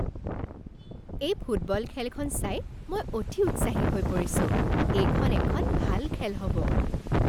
এই ফুটবল খেলখন চাই মই অতি উৎসাহী হৈ পৰিছোঁ! এইখন এখন ভাল খেল হ'ব।